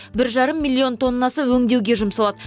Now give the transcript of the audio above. бір жарым миллион тоннасы өңдеуге жұмсалады